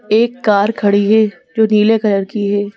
एक कार खड़ी है जो नीले कलर की है।